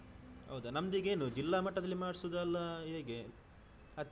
ಹೌದಾ ನಮ್ದು ಈಗ ಏನು ಜಿಲ್ಲಾ ಮಟ್ಟದಲ್ಲಿ ಮಾಡ್ಸುದಲ್ಲಾ ಹೇಗೆ ಹತ್ತಿರದ?